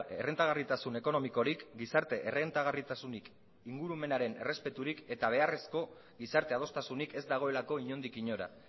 errentagarritasun ekonomikorik gizarte errentagarritasunik ingurumenaren errespeturik eta beharrezko gizarte adostasunik ez dagoelako inondik inora